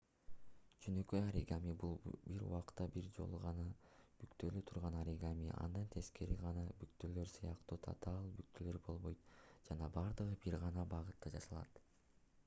жөнөкөй оригами бул бир убакта бир жолу гана бүктөлө турган оригами анда тескери жакка бүктөөлөр сыяктуу татаал бүктөөлөр болбойт жана бардыгы бир гана багытта жасалат